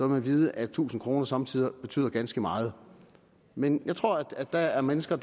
man vide at tusind kroner somme tider betyder ganske meget men jeg tror at der er mennesker